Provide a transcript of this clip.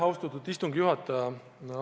Austatud istungi juhataja!